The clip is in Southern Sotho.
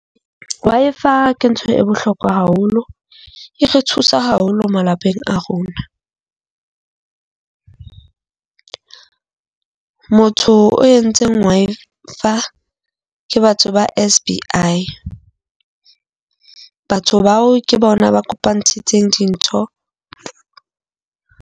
Wi-Fi ke ntho e bohlokwa haholo, e re thusa haholo malapeng a rona. Motho o entseng Wi-Fi ke batho ba SBI. Batho bao ke bona ba kopantshitseng dintho.